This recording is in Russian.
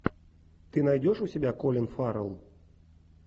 ты найдешь у себя колин фаррелл